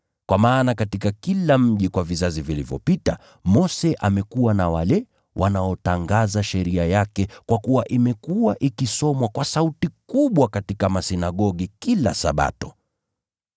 Kwa maana katika kila mji kwa vizazi vilivyopita, Mose amekuwa na wale wanaotangaza sheria yake kwa kuwa imekuwa ikisomwa kwa sauti kubwa katika masinagogi kila Sabato.”